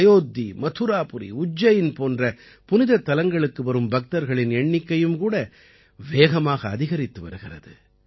அயோத்தி மதுராபுரி உஜ்ஜைன் போன்ற புனிதத் தலங்களுக்கு வரும் பக்தர்களின் எண்ணிக்கையும் கூட வேகமாக அதிகரித்து வருகிறது